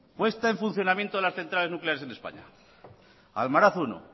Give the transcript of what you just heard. puesta en funcionamiento de las centrales nucleares en españa almaraz primero